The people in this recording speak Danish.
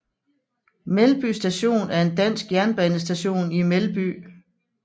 Melby Station er en dansk jernbanestation i Melby